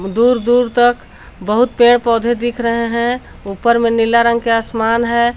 दूर दूर तक बहुत पेड़ पौधे दिख रहे हैं ऊपर में नीला रंग के आसमान है।